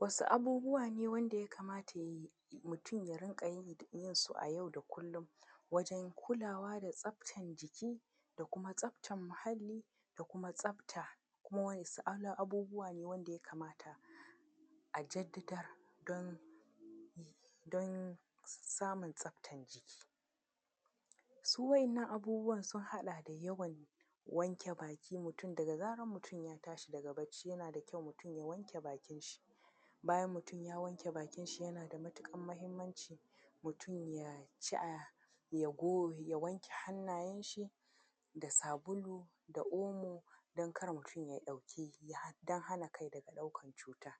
Wasu abubuwa ne wanda ya kamata ya yi mutum ya rinka yi yin su a yau da kullum wajen kulawa da tsaftan jiki da kuma tsaftan mahalli da kuma tsafta, kuma wasu abubuwa ne wanda ya kamata a jaddada don, don samun tsaftan jiki? Su wa'yannan abubuwan sun haɗa da yawan wanke baki mutum, daga zaran mutum ya tashi daga bacci, yana da kyau mutum ya wanke bakinshi. Bayan mutum ya wanke bakinshi, yana da matuƙar mahimmanci mutum ya ci, a, ya go, ya wanke hannayenshi da sabulu da omo, don kar mutum ya ɗauki, don hana kai daga ɗaukar cuta.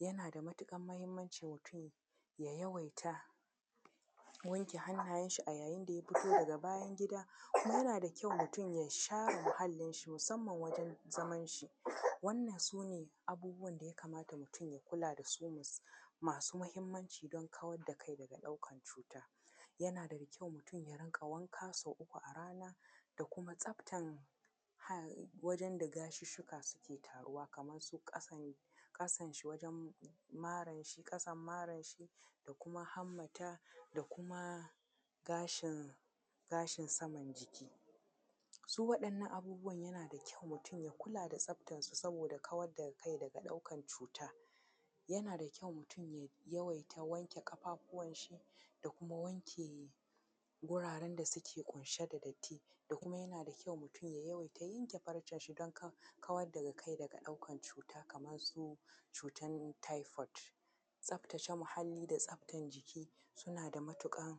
Yana da matuƙar muhimmanci mutum ya yawaita wanke hannayenshi a yayin da ya fito daga bayan-gida, kuma yana da kyau mutum ya share muhallinshi, musamman wajen zamanshi. Wannan su ne abubuwan da kamata mutum ya kula da su masu muhimmanci don kawar da kai daga ɗaukar cuta. Yana da kyau mutum ya riƙa wanka sau uku a rana, da kuma tsaftan aa, wajen da gashusshuka suke taruwa kaman su ƙasan, kasanshi, maranshi ƙasan maranshi, da kuma hammata da kuma gashin, gashin saman jiki. Su waɗannan abubuwa yana da kyau mutum ya kula da tsaftansu saboda kawar da kai daga ɗaukan cuta. Yana da kyau mutum ya yawaita wanke ƙafafuwanshi, guraren da suke ƙunshe da datti, da kuma yana da kyau mutum ya yawaita yanke farcenshi don kar, kawar daga kai daga ɗaukan cuta, kamar su cutan typhoid. Tsaftace muhalli da tsaftan jiki, suna da matuƙar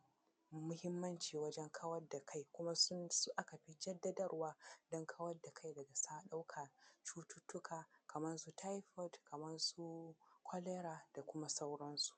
muhimmanci wajen kawar da kai kuma sun su aka fi jaddawarwa don kawar da kai daga sa, ɗaukar cututtuka kamar su typhoid, kamar su cholera, da kuma sauransu.